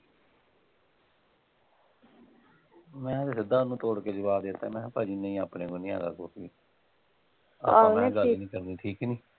ਮੈਂ ਫੇਰ ਸਿੱਧਾ ਓਹਨੂੰ ਤੋੜ ਕੇ ਜਵਾਬ ਦੇ ਤਾ ਸੀ ਮੈ ਕਿਹਾ ਭਾਜੀ ਨਹੀਂ ਆਪਣੇ ਕੋਲ ਨਹੀਂ ਹੈਗਾ ਕੁਛ ਵੀ